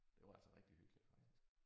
Det var altså rigtig hyggeligt faktisk